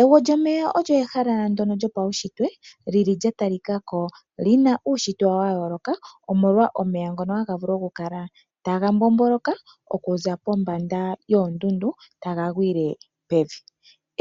Egwo lyomeya olyo ehala lyopaushitwe ndono lya talikako li na uushitwe wa yooloka omolwa omeya ngono haga vulu oku kala taga mbomboloka okuza pombanda yoondundu taga gwile pevi